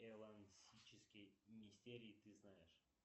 элансические мистерии ты знаешь